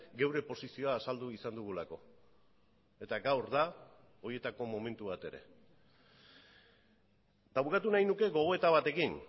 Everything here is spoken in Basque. geure posizioa azaldu izan dugulako eta gaur da horietako momentu bat ere eta bukatu nahi nuke gogoeta batekin